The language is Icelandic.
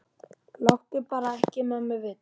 Láttu bara ekki mömmu vita.